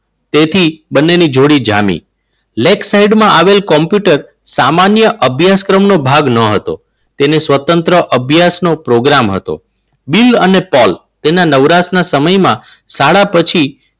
તેથી બંનેની જોડી જામી. lake site માં આવેલ કોમ્પ્યુટર lake site માં અભ્યાસક્રમ નો ભાગ ન હતો. તેને સ્વતંત્ર અભ્યાસનો પ્રોગ્રામ હતો. બિલ અને પોલ તેના નવરાશના સમયમાં શાળા પછી